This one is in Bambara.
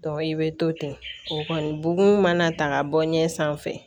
i bɛ to ten o kɔni bugun mana ta ka bɔ ɲɛ sanfɛ